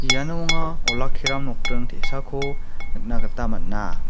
iano anga olakkiram nokdring te·sako nikna gita man·a.